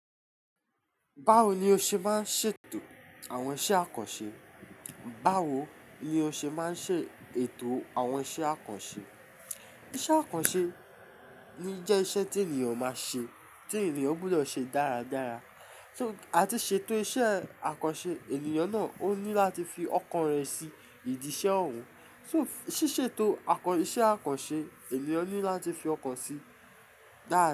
Báwo ni o ṣe máa ń ṣètò àwọn iṣẹ́ àkànṣe? Báwo ni o ṣe máa ń ṣètò àwọn iṣẹ́ àkànṣe? Iṣẹ́ àkànṣe ni jẹ́ iṣẹ́ tí ènìyàn máa ṣe, tí ènìyàn gbọdọ̀ ṣe dáradára. Só-- àti ṣètò iṣẹ́ àkànṣe ènìyàn náà ó ní láti fi ọkàn rẹ̀ sí ìdí iṣẹ́ òun. So, ṣíṣètò àkàn-- iṣẹ́ àkànṣe ènìyàn ní láti fi ọkàn sí dára.